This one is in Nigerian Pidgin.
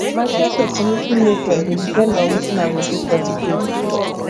my choice of commuting method dey depend on wetin i go do for di day